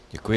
Děkuji.